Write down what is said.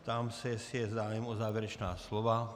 Ptám se, jestli je zájem o závěrečná slova.